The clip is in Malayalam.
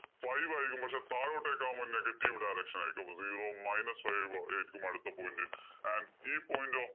five ആയിരിക്കും. പക്ഷേ താഴോട്ടേക്കാവുമ്പോ negative direction ആയിരിക്കും. അപ്പൊ zero minus five ആയിരിക്കും അടുത്ത point.